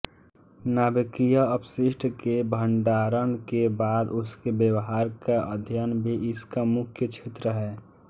नाभिकीय अपशिष्ट के भण्डारण के बाद उसके व्यवहार का अध्ययन भी इसका मुख्य क्षेत्र है